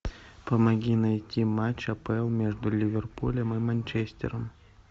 помоги найти матч апл между ливерпулем и манчестером